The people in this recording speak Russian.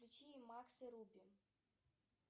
включи макс и руби